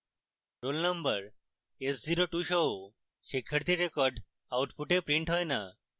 roll number s02 সহ শিক্ষার্থীর record output printed হয় the